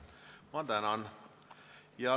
Ma tänan!